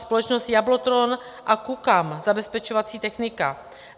Společnost Jablotron a Koukaam - zabezpečovací technika.